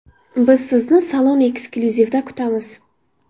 Biz sizni Salon Exclusive’da kutamiz!